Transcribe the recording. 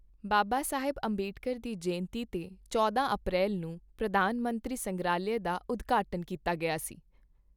ਬਾਬਾ ਸਾਹਿਬ ਅੰਬੇਡਕਰ ਦੀ ਜਯੰਤੀ ਤੇ ਚੌਂਦਾ ਅਪ੍ਰੈਲ ਨੂੰ ਪ੍ਰਧਾਨ ਮੰਤਰੀ ਸੰਗ੍ਰਹਾਲਯ ਦਾ ਉਦਘਾਟਨ ਕੀਤਾ ਗਿਆ ਸੀ ।